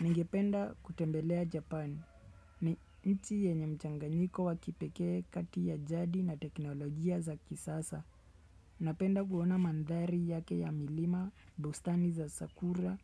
Ningependa kutembelea Japan. Ni nchi yenye mchanganyiko wakipekee kati ya jadi na teknolojia za kisasa. Napenda kuona mandhari yake ya milima, bustani za sakura